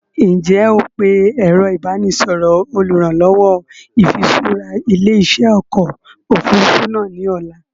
Ǹ jẹ́ ó pe ẹ̀rọ ìbánisọọ̀rọ̀ olùrànlọ́wọ́ ìfiṣura ilé-iṣẹ́ ọkọ̀ Òfurufú náà ni ọ̀la